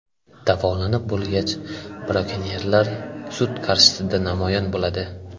Davolanib bo‘lgach, brakonyerlar sud qarshisida namoyon bo‘ladi.